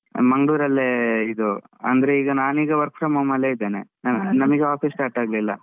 ಮಂಗ್ಳೂರಲ್ಲೇ ಇದು. ಅಂದ್ರೆ ಈಗ ನಾನೀಗ work from home ಅಲ್ಲೇ ಇದ್ದೆನೆ. ನಮಿಗ್ office start ಆಗ್ಲಿಲ್ಲ.